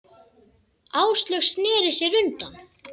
Áslaug sneri sér undan.